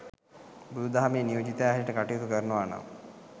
බුදු දහමේ නියෝජිතයා හැටියට කටයුතු කරනවනම්